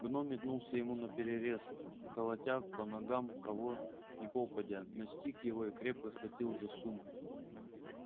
гном метнулся ему наперерез колотя по ногам кого ни попадя настиг его и крепко схватил за сумку